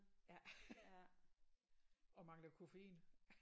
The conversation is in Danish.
Ja og mangler koffein